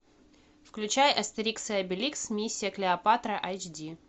включай астерикс и обеликс миссия клеопатра айч ди